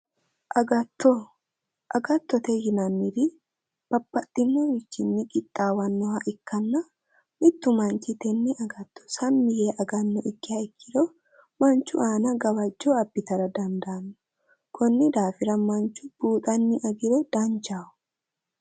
Agatto agattote yinanniti babbaxinorichinni qixaawannoha ikkanna mittu manichi tenne agatto sammi yee agannoha ikkiha ikkiro manichu aana gawajjo abbitara danidaano konni daafira manichu Buuxani agiro danichaho